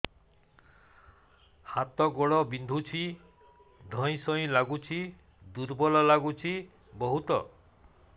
ହାତ ଗୋଡ ବିନ୍ଧୁଛି ଧଇଁସଇଁ ଲାଗୁଚି ଦୁର୍ବଳ ଲାଗୁଚି ବହୁତ